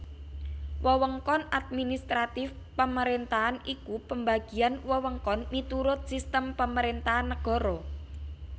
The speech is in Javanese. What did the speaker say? Wewengkon administratif pemerentahan iku pembagian wewengkon miturut sistim pemerentahan nagara